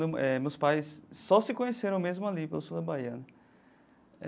Eh meus pais só se conheceram mesmo ali, pelo sul da Bahia.